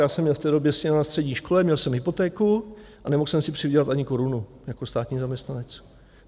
Já jsem měl v té době syna na střední škole, měl jsem hypotéku a nemohl jsem si přivydělat ani korunu jako státní zaměstnanec.